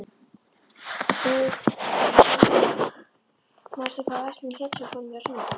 Eufemía, manstu hvað verslunin hét sem við fórum í á sunnudaginn?